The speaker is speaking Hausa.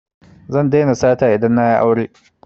Zan daina sata idan na yi aure